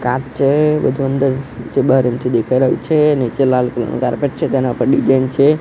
કાચ છે બધું અંદર જે બાર અઇથી દેખાય રહ્યું છે નીચે લાલ કલર નું કાર્પેટ છે તેના ઉપર ડિઝાઇન છે.